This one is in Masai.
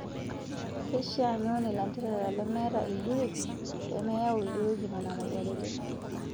Keishaa niun ilanterera lemetii ilduruki peemeyau ilduruki Nena imoyiaritin.